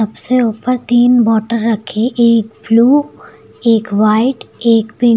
सबसे ऊपर तीन बॉटल रखे एक ब्लू एक वाइट एक पिंक ।